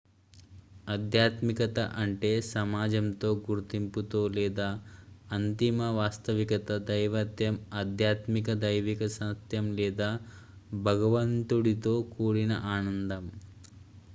ఆధ్యాత్మికత అంటే సమాజంతో గుర్తింపుతో లేదా అంతిమ వాస్తవికత దైవత్వం ఆధ్యాత్మిక దైవిక సత్యం లేదా భగవంతుడితో కూడిన ఆనందం